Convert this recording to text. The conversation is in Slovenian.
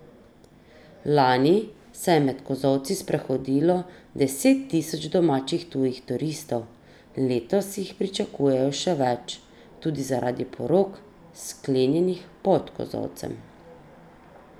Lani se je med kozolci sprehodilo deset tisoč domačih in tujih turistov, letos jih pričakujejo še več, tudi zaradi porok, sklenjenih pod kozolcem.